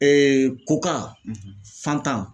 koka fanta